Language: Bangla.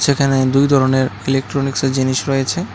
যেখানে দুই ধরণের ইলেকট্রনিক্সের জিনিস রয়েছে।